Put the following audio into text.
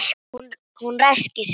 Hún ræskir sig.